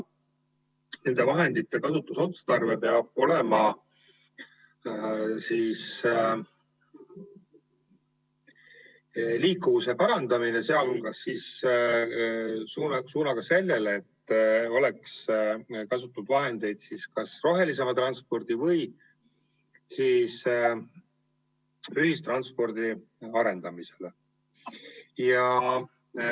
Nende vahendite kasutusotstarve peab olema liikumisvõimaluste parandamine, kusjuures suund on sinnapoole, et vahendeid kasutataks kas rohelisema transpordi või ühistranspordi arendamiseks.